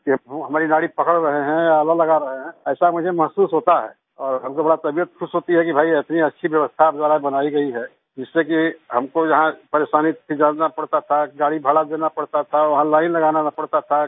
के वो हमारी नाड़ी पकड़ रहे हैं आला लगा रहे हैं ऐसा मुझे महसूस होता है और हमको बड़ा तबीयत खुश होती है कि भई इतनी अच्छी व्यवस्था आप द्वारा बनाई गई है कि जिससे कि हमको यहाँ परेशानी से जाना पड़ता था गाड़ी का भाड़ा देना पड़ता था वहाँ लाईन लगाना पड़ता था